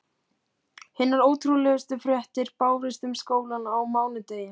Hinar ótrúlegustu fréttir bárust um skólann á mánudegi.